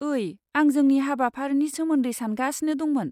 ओइ, आं जोंनि हाबाफारिनि सोमोन्दै सानगासिनो दंमोन?